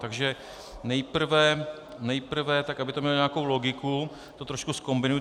Takže nejprve tak, aby to mělo nějakou logiku, to trošku zkombinuji: